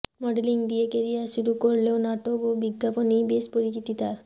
modelling দিয়ে career শুরু করলেও নাটক ও বিজ্ঞাপনেই বেশ পরিচিতি তার